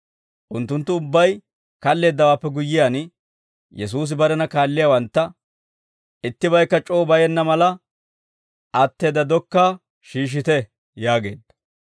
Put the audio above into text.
Unttunttu ubbay kalleeddawaappe guyyiyaan, Yesuusi barena kaalliyaawantta «Ittibaykka c'oo bayenna mala, atteedda dokkaa shiishshite» yaageedda.